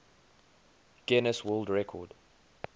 guinness world record